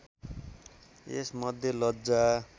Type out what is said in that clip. यसमध्ये लज्जा